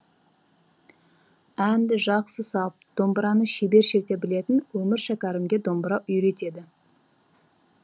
әнді жақсы салып домбыраны шебер шерте білетін өмір шәкәрімге домбыра үйретеді